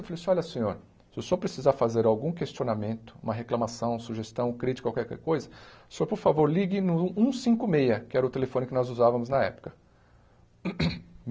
Eu falei assim, olha senhor, se o senhor precisar fazer algum questionamento, uma reclamação, sugestão, crítica, qualquer coisa, o senhor por favor ligue no um cinco meia, que era o telefone que nós usávamos na época.